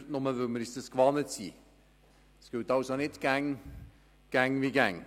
Es gilt also nicht immer, dass es so wie immer sein muss.